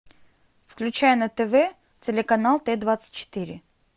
включай на тв телеканал т двадцать четыре